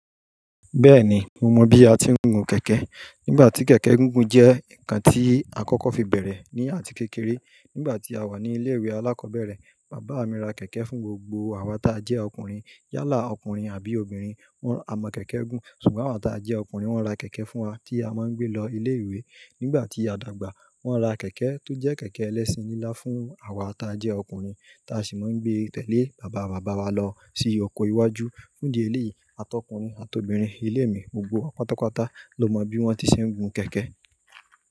Bẹ́ẹ̀ni, mo mọ bí a ti ń gun kẹ̀kẹ́. Nígbà tí kẹ̀kẹ́ egungun jẹ́ nǹkan tí a kọ́kọ́ fi bẹ̀rẹ̀ ní àti kékeré. Nígbà tí a wà ní ilé ìwé alákọ̀bẹ̀rẹ̀, bàbá mi ra kẹ̀kẹ́ fún gbogbo àwa ta jẹ́ ọkùnrin. Yálà ọkùnrin àbí obìnrin, wọ́n mọ kẹ̀kẹ́ gùn. Ṣùgbọ́n àwa ta jẹ́ ọkùnrin, wọ́n ra kẹ̀kẹ́ fún wa tí a máa ń gbé lọ ilé ìwé. Nígbà tí a dàgbà, wọ́n ra kẹ̀kẹ́ tó jẹ́ kẹ̀kẹ́ ẹlẹ́sìn nílá fún àwa ta jẹ́ ọkùnrin. Ta sì máa ń gbé tẹ̀lé bàbá bàbá wa lọ sí oko iwájú. Fún idi ẹlẹ́ẹ̀yi atọkùnrin àtọbìnrin ilé mi, gbogbo wọ́n pátápátá ló mọ bí wọ́n ti ṣe ń gun kẹ̀kẹ́